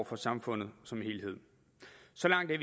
for samfundet som helhed så langt er